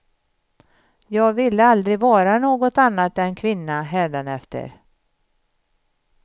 Jag ville aldrig vara något annat än kvinna hädanefter.